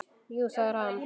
Jú, það er hann.